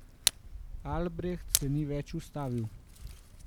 Albreht se ni več ustavil.